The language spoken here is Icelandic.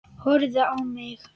Horfði ekki á mig.